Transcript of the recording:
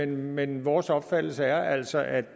men vores opfattelse er altså at